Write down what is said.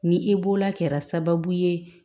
Ni e bolola kɛra sababu ye